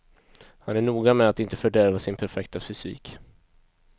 Han är noga med att inte fördärva sin perfekta fysik.